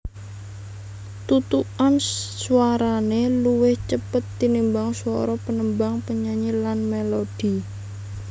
Thuthukan swarané luwih cepet tinimbang swara panembang penyanyi lan mélodi